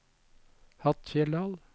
Hattfjelldal